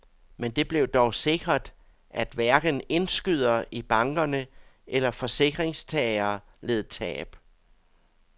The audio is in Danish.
Men det blev dog sikret, at hverken indskydere i bankerne eller forsikringstagere led tab.